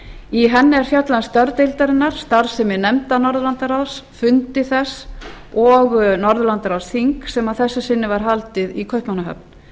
í henni er fjallað um störf deildarinnar starfsemi nefnda norðurlandaráðs fundi þess og norðurlandaráðsþings sem að þessu sinni var haldið í kaupmannahöfn